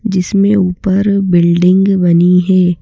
जिसमें ऊपर बिल्डिंग बनी हैं।